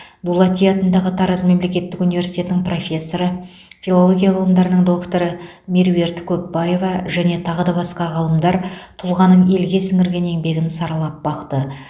дулати атындағы тараз мемлекеттік университетінің профессоры филология ғылымдарының докторы меруерт көпбаева және тағы да басқа ғалымдар тұлғаның елге сіңірген еңбегін саралап бақты